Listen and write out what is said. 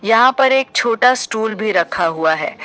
यहां पर एक छोटा स्टूल भी रखा हुआ है।